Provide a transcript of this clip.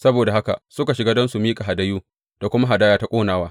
Saboda haka suka shiga don su miƙa hadayu da kuma hadaya ta ƙonawa.